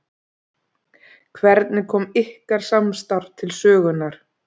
Hvernig kom ykkar samstarf til sögunnar?